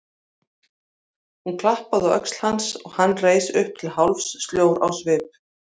Hún klappaði á öxl hans og hann reis upp til hálfs, sljór á svip.